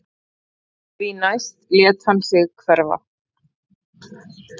Því næst lét hann sig hverfa